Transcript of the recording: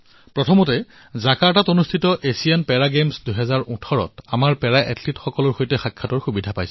প্ৰথমে জাকাৰ্টাত হোৱা এছিয়ান পেৰা গেমছ ২০১৮ বৰ্ষৰ আমাৰ পেৰা এথলীটসকলৰ সৈতে সাক্ষাৎ কৰাৰ সৌভাগ্য হল